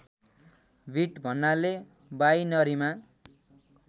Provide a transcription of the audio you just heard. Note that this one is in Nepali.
बिट भन्नाले बाइनरीमा